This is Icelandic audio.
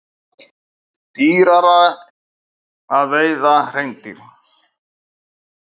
Dýrara að veiða hreindýr